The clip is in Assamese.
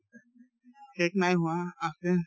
শেষ নাই হোৱা আছে